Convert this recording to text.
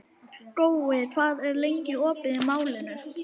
Gói, hvað er lengi opið í Málinu?